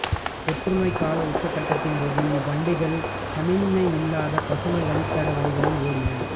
தொற்றுநோய் கால உச்சக்கட்டத்தின் போது இவ்வண்டிகள் சமிக்ஞை இல்லாத பசுமை வழித்தட வழிகளில் ஓடின